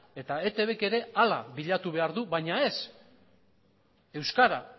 eta eitbk ere hala bilatu behar du baina ez euskara